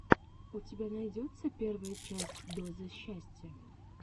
у тебя найдется первая часть дозы счастья